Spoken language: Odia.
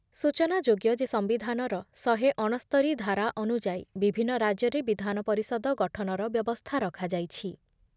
ସୂଚନାଯୋଗ୍ୟ ଯେ ସମ୍ବିଧାନର ଶହେ ଅଣସ୍ତରୀ ଧାରା ଅନୁଯାୟୀ ବିଭିନ୍ନ ରାଜ୍ୟରେ ବିଧାନ ପରିଷଦ ଗଠନର ବ୍ୟବସ୍ଥା ରଖାଯାଇଛି ।